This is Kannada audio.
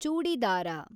ಚೂಡಿದಾರ